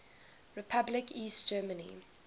republic east germany